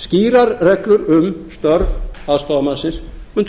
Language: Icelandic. skýrar reglur um störf aðstoðarmannsins mundu